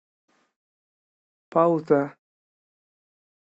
пауза